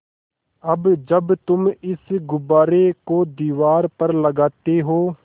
अब जब तुम इस गुब्बारे को दीवार पर लगाते हो